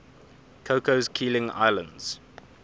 cocos keeling islands